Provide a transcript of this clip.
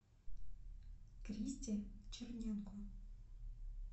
кристе черненко